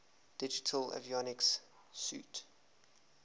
digital avionics suite